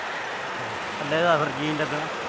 ਅੱਛਾ। ਕੱਲੇ ਤਾਂ ਫਿਰ ਜੀਅ ਨੀ ਲੱਗਣਾ।